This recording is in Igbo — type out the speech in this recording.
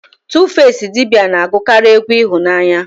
Tufasi idibia na-agụkarị egwu ịhụnanya